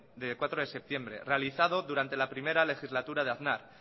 de cuatro de septiembre realizado durante la primera legislatura de aznar